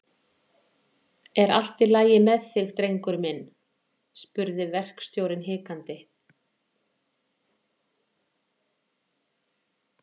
Er ekki allt í lagi með þig, drengur minn? spurði verkstjórinn hikandi.